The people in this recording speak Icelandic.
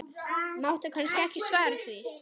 Máttu kannski ekki svara því?